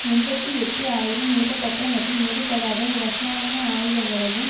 எண்பத்தி எட்டு ஆயிரம் நிரப்பப்பட்ட மற்றும் நிரப்பப்படாத இரசாயன ஆயுதங்களையும்